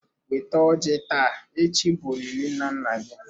Weta ọjị taa echi bụ olili nna nna anyi.